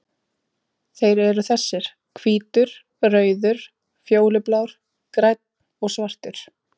Þeir eru þessir: Hvítur, rauður, fjólublár, grænn og svartur.